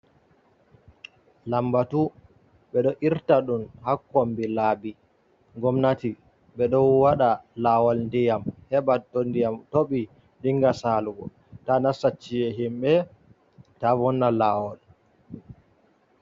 Lambatu ɓe ɗo irta ɗum haa kombi laabi gomnati, ɓe ɗo waɗa laawol ndiyam, heɓa to ndiyam toɓi, dinga saalugo, taa nasta ci'e himɓe, ta vonna laawol.